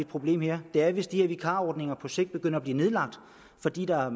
problem her er hvis de her vikarordninger på sigt begynder at blive nedlagt fordi der er